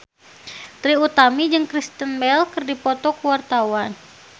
Trie Utami jeung Kristen Bell keur dipoto ku wartawan